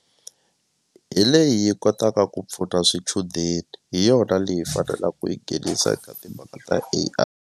Hi leyi yi kotaka ku pfuna swichudeni hi yona leyi hi fanela ku yi nghenisa eka timhaka ta A_I